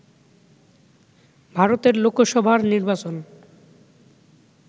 ভারতের লোকসভার নির্বাচন